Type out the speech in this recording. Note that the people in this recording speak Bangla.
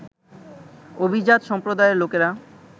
অভিজাত সম্প্রদায়ের লোকেরা